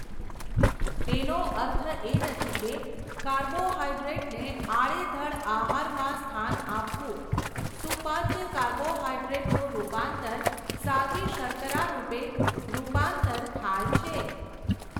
તેનો અર્થ એ નથી કે, કાર્બોહાઈડ્રેટને આડેધડ આહારમાં સ્થાન આપવું, સુપાચ્ય કાર્બોહાઈડ્રેટનું રુપાંતર સાદી શર્કરા રૃપે રૃપાંતર થાય છે.